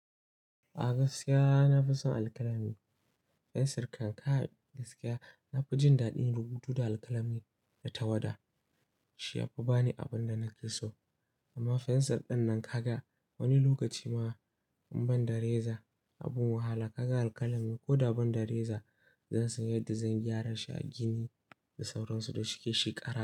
A gaskiya na fi son alkalami. Fensir kan ka gaskiya na fi jin daɗin rubutu da alkalami da tawada. Shi ya fi ba ni abin da nake so. Amma fensir ɗinnan ka ga wani lokaci ma in ban da reza. Abun wahala ka ga alkalami ko da ban da reza, zan sanya da zan gyara shi a gini da sauransu da shike shi ƙara.